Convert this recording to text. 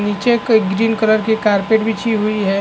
नीचे कई green colour carpet बिछी हुई है।